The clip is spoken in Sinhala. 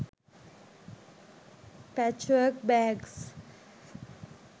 pachwork bags